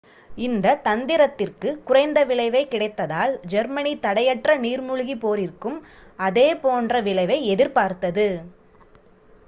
இந்த தந்திரத்திற்கு குறைந்த விளைவே கிடைத்ததால் ஜெர்மனி தடையற்ற நீர்மூழ்கி போரிற்கும் அதே போன்ற விளைவை எதிர்பார்த்தது